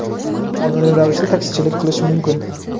qonuniy ravishda taksichilik qilish mumkin.